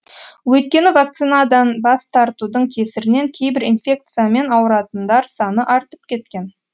өйткені вакцинадан бас тартудың кесірінен кейбір инфекциямен ауыратындар саны артып кеткен